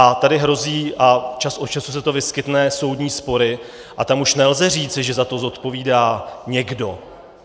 A tady hrozí, a čas od času se to vyskytne, soudní spory a tam už nelze říci, že za to zodpovídá někdo.